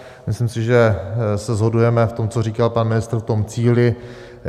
Myslím si, že se shodujeme v tom, co říkal pan ministr, v tom cíli.